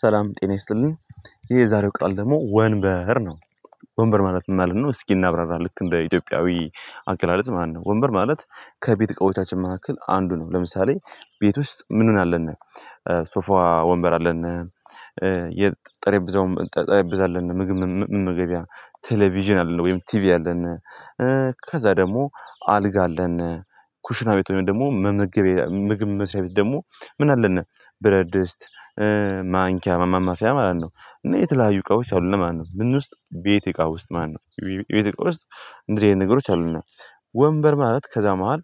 ሰላም ጤና ይስጥልኝ ይሄ የዛሬው ቃል ደግሞ ወንበር ነው። ወንበር ማለት ምን ማለት ነው? እስኪ እናብራራ ልክ እንደ ኢትዮጵያዊ አገላለጽ ማለት ነው። ወንበር ማለት ከቤት እቃዎቻችን መካከል አንዱ ነው። ለምሳሌ ቤት ውስጥ ምን ምን አለን? ሶፋ፣ ወንበር አለን የጠረጴዛውም ጠረጴዛ አለን። ምግብ መመገቢያ ቴሌቪዥን አለ ወይም ቲቪ አለን ከዛ ደግሞ አልጋ አለን ኩሽና ቤት ሆነን ደግሞ መመገቢያ ምግብ መስሪያ ቤት ደግሞ ምን አለን ብረድስት ማንኪያ ማማሰያ ማለት ነው እና የተለያዩ እቃዎች አሉን ማለት ነው። ምን ውስጥ ቤቴ እቃ ውስጥ ማለት ነው። ቤቴ እቃ ውስጥ እንደዚህ አይነት ነገሮች አሉን። ወንበር ማለት ከዛ መሃል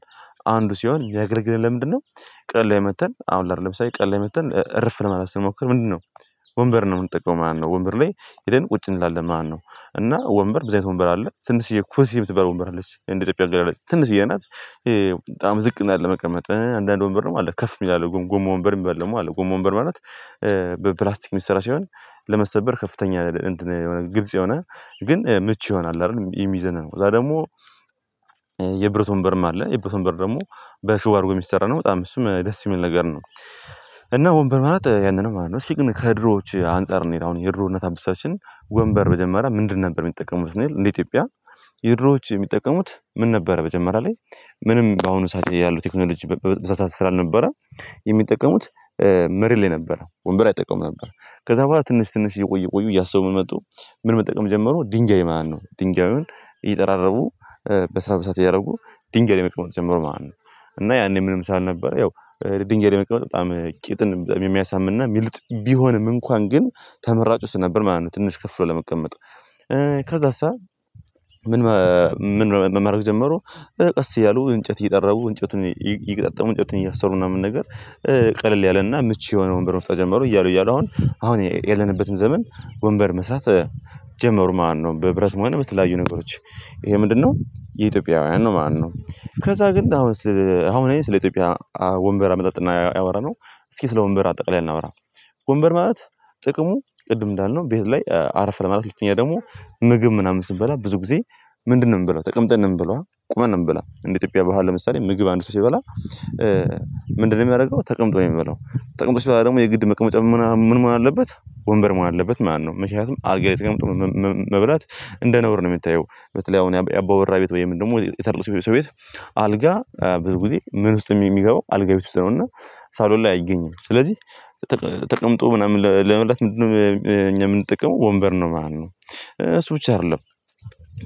አንዱ ሲሆን የሚያገለግለን ለምንድነው ቀን ላይ መጥተን አሁን ለምሳሌ ላይ ቀን ላይ መጥተን እረፍ ለማለት ስንሞክር ምንድነው ወንበር ነው የምንጠቀመው ማለት ነው ወንበር ላይ ሄደን ቁጭ እንላለን ማለት ነው። እና ወንበር ብዙ አይነት ወንበር አለ። ትንሸዬ ኩርሲ የምትባል ወንበር አለች እንደ ኢትዮጵያ ህዝብ ያለች ትንሽዬ ናት በጣም ዝቅ ናት ለመቀመጥ። አንዳንድ ወንበር ደግሞ አለ ከፍ የሚል አለ ጎማ ወንበር የሚባል ደግሞ አለ። ጎማ ወንበር ማለት በፕላስቲክ የሚሰራ ሲሆን ለመሰበር ከፍተኛ ግልጽ የሆነ ግን ምቹ የሆነ አለ አይደል የሚዘና ነው ከዛ ደግሞ የብረት ወንበርም አለ። የብረት ወንበር ደግሞ በሽቦ አድርጎ የሚሰራ ነው። በጣም እሱም ደስ የሚል ነገር ነው። እና ወንበር ማለት ያንን ነው ማለት ነው። እስኪ ግን ከድሮዎች አንፃር እንሂድ፤ አሁን የድሮ እናት አባቶቻችን ወንበር መጀመሪያ ምንድን ነበር የሚጠቀሙት ስንል እንደ ኢትዮጵያ? የድሮዎች የሚጠቀሙት ምን ነበረ መጀመሪያ ላይ ምንም በአሁኑ ሰዓት ያሉት ቴክኖሎጂ በዛ ሰዓት ስላልነበረ የሚጠቀሙት መሬት ላይ ነበረ ወንበር አይጠቀሙም ነበር፤ ከዛ በኋላ ትንሽ ትንሽ እየቆዩ እየቆዩ እያሰቡ መጡ ምን መጠቀም ጀመሩ ድንጋይ ማለት ነው። ድንጋዩን እየጠራረቡ በስርዓት በስርዓት እያደረጉ ድንጋይ ላይ መቀመጥ ጀመሩ ማለት ነው። እና ያኔ ምንም ስላልነበረ ያው ድንጋይ መቀመጥ በጣም ቂጥን የሚያሳምምና የሚልጥ ቢሆንም እንኳን ግን፤ ተመራጭ ውስጥ እሱ ነበር ማለት ነው ትንሽ ከፍ ብሎ ለመቀመጥ ከዛስ? ምን ምን ማድረግ ጀመሩ ቀስ እያሉ እንጨት እየጠረቡ እንጨቱን እየገጣጠሙ እንጨቱን እያሰሩ ምናምን ነገር ቀለል ያለና ምቹ የሆነ ወንበር መፍጠር ጀመሩ። እያሉ እያሉ አሁን አሁን ያለንበትን ዘመን ወንበር መስራት ጀመሩ ማለት ነው በብረት ሆነ በተለያዩ ነገሮች ይሄ ምንድነው የኢትዮጵያውያን ነው ማለት ነው። ከዛ ግን አሁን አስኪ አሁን እኔ ስለ ኢትዮጵያ ወንበር አመጣጥ ነው ያወራነው። እስኪ ስለ ወንበር አጠቃላይ እናወራ ወንበር ማለት ጥቅሙ ቅድም እንዳልነው ቤት ላይ አረፍ ለማለት ሁለተኛ ደግሞ ምግብ ምናምን ስንበላ ብዙ ጊዜ ምንድነው የምንበላው ተቀምጠን ነው የምንበላው ቁመን ነው የምንበላው እንደ ኢትዮጵያ በህል ለምሳሌ ምግብ አንድ ሰው ሲበላ ምንድነው የሚያደርገው ተቀምጦ ነው የሚበላው ተቀምጦ ሲበላ ደግሞ የግድ መቀመጫ ምናምን ምን መሆን አለበት ወንበር ማለት መኖር አለበት ማለት ነው። ምክንያቱም አልጋ ላይ ተቀምጦ መብላት እንደ ነውር ነው የሚታየው። በተለይ አሁን ያባወራ ቤት ወይም ደግሞ የትልቅ ሰው ቤት አልጋ ብዙ ጊዜ ምን ውስጥ ነው የሚገባው አልጋ ቤት ውስጥ ነው እና ሳሎን ላይ አይገኝም ስለዚህ ተቀምጦ ምናምን ለመብላት ምንድነው እኛ የምንጠቀመው ወንበር ነው ማለት ነው። አሱ ብቻ አይደለም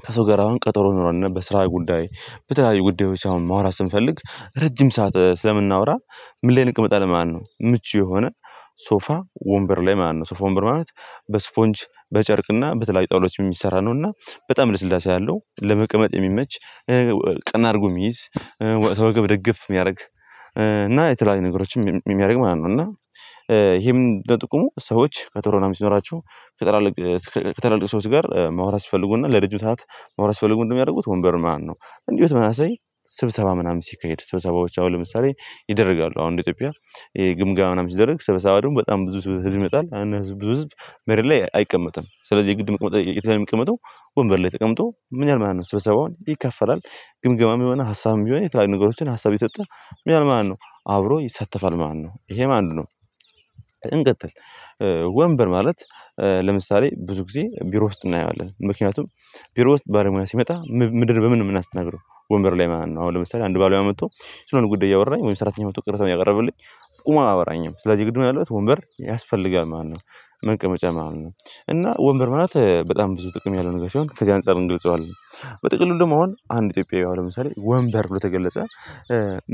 ከሰው ጋር አሁን ቀጠሮ ኖሮን በስራ ጉዳይ በተለያዩ ጉዳዮች አሁን ማውራት ስንፈልግ ረጅም ሰዓት ስለምናወራ ምን ላይ እንቅመጣለን ማለት ነው? ምቹ የሆነ ሶፋ ወንበር ላይ ማለት ነው። ሶፋ ወንበር ማለት በእስፖንጅ፣ በጨርቅና በተለያዩ ጣዉላዎች የሚሰራ ነውና በጣም ልስላሴ አለው ለመቀመጥ የሚመች ቀና አድርጎ የሚይዝ፣ ከወገብ ደገፍ የሚያደርግ እና የተለያዩ ነገሮችም የሚያደርግ ማለት ነው እና ይሄም ምንድነው ጥቅሙ ሰዎች ቀጠሮ መናምን ሲኖራቸው ከትላልቅ ከትላልቅ ሰዎች ጋር ማውራት ሲፈልጉና ለረጅም ሰዓት ማውራት ሲፈልጉ ምንድነው የሚያደርጉት ወንበር ማለት ነው። እንዲሁ በተመሳሳይ ስብሰባ ምናምን ሲካሄድ ስብሰባዎች አሁን ለምሳሌ ይደረጋሉ አሁን እንደ ኢትዮጵያ ይሄ ግምጋማ ምናምን ሲደረግ ስብሰባ ደግሞ በጣም ብዙ ህዝብ ይመጣል ያን ብዙ ህዝብ መሬት ላይ አይቀመጥም ስለዚህ የግድ የሚቀመጠው የት ላይ ነው የሚቀመጠው ወንበር ላይ ተቀምጦ ምን ይላል ማለት ነው ስብሰባውን ይከፈላል ግምገማም የሆነ ሀሳብም ቢሆን የተለያዩ ነገሮችን ሀሳብ ይሰጣል ምን ይላል ማልት ነው አብሮ ይሳተፋል ማለት ነው ይሄ አንዱ ነው እንቀጥል ወንበር ማለት ለምሳሌ ብዙ ጊዜ ቢሮ ውስጥ እናየዋለን ምክንያቱም ቢሮ ውስጥ ባለሙያ ሲመጣ ምንድነው በምን ነው የምናስተናግደው ወንበር ላይ ማን ነው አሁን ለምሳሌ አንድ ባለሙያ መጥቶ ስለሆነ ጉዳይ እያወራኝ ወይም ሰራተኛ መጥቶ ቅሬታዉን እያቀረበልኝ ቁሙ አያወራኝም ስለዚህ ግድ መሆን ያለበት ወንበር ያስፈልጋል ማለት ነው መንቀመጫ ማለት ነው እና ወንበር ማለት በጣም ብዙ ጥቅም ያለው ነገር ሲሆን ከዚህ አንፃር እንገልፀዋለን። በጥቅሉ ደግሞ አሁን አንድ ኢትዮጵያዊ አሁን ለምሳሌ ወንበር ብሎ ከገለጸ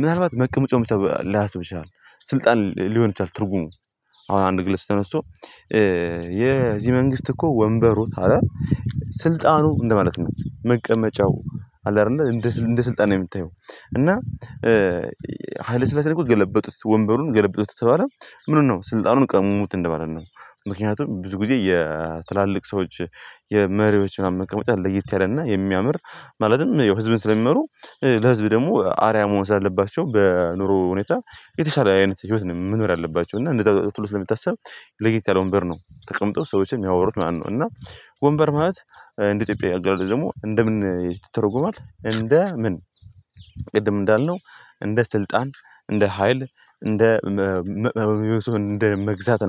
ምናልባት መቀመጫውን ብቻ ላያስብ ይችላል። ስልጣን ሊሆን ይችላል ትርጉሙ፤ አሁን አንድ ግለሰብ ተነስቶ የዚህ መንግስት እኮ ወንበሩ ካለ ስልጣኑ እንደማለት ነው መቀመጫው አለ አይደለ እንደ እንደ ስልጣን ነው የምታየው እና ሀይለ ስላሴ ላይ እኮ ገለበጡት ወንበሩን ገለበጡት የተባለው ምኑን ነው ስልጣኑን ቀሙት እንደማለት ነው። ምክንያቱም ብዙ ጊዜ የትላልቅ ሰዎች የመሪዎች ምናምን መቀመጫ ለየት ያለ እና የሚያምር ማለትም ያው ህዝብን ስለሚመሩ ለህዝብ ደግሞ አርአያ መሆን ስላለባቸው በኑሮ ሁኔታ የተሻለ አይነት ህይወት ነው መኖር ያለባቸው እና እንደዛ ተብሎ ስለሚታሰብ ለየት ያለ ወንበር ነው ተቀምጠው ሰዎችን የሚያወሩት ማለት ነው እና ወንበር ማለት እንደ ኢትዮጵያአዊ አገላለጽ ደግሞ እንደምን ይተረጎማል እንደ ምን ቅድም እንዳልነው እንደ ስልጣን፣ እንደ ሀይል፣ እንደ መግዛት